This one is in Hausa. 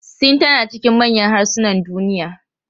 Sin tana cikin manyan harsunan duniya.